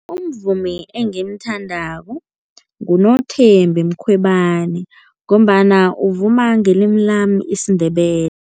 Umvumi engimthandako nguNothembi Mkhwebana ngombana uvuma ngelimi lami isiNdebele.